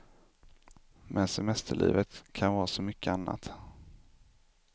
Men semesterlivet kan vara så mycket annat.